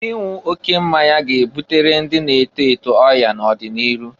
Ịnwụ oke mmanya ga-ebutere ndị na-eto eto ọya n'ọdị n'iru.